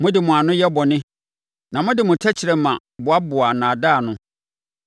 Mode mo ano yɛ bɔne na mode mo tɛkrɛma boaboa nnaadaa ano.